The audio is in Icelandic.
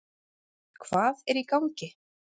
Hvað er í gangi?